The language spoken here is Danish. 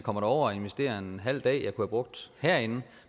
og investerede en halv dag jeg kunne have brugt herinde